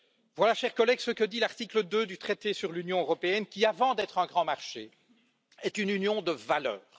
Voilà, chers collègues, ce que dit l'article 2 du traité sur l'Union européenne, qui, avant d'être un grand marché, est une union de valeurs.